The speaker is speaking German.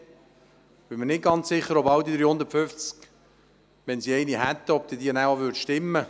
Und ich bin mir nicht ganz sicher, ob, wenn sie eine Investitionsplanung hätten, diese auch wirklich stimmten.